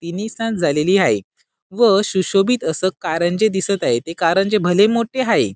तिन्ही सांज झालेली आहे व सुशोभित अस कारंजे दिसत आहे ते कारंजे भले मोठे आहे.